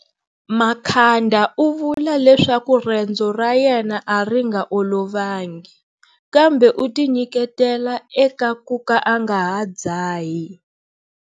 Makhanda u vula leswaku rendzo ra yena a ri nga olovangi, kambe u tinyiketela eka ku ka a nga ha dzahi.